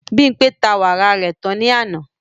Bimpé ta wàrà rẹ̀ tán ní àná